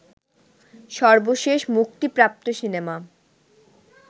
সর্বশেষ মুক্তিপ্রাপ্ত সিনেমা